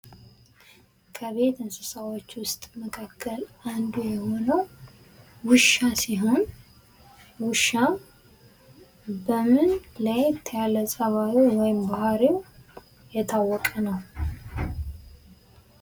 ከቤት እንስሳዎች ውስጥ መካከል አንዱ የሆነው ውሻ ሲሆን ውሻ በምን ለየት ያለ ፀባዩ ወይም ባህሪው የታወቀ ነው?